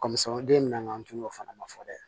Kɔmi samaden nana an tun y'o fana fɔ dɛ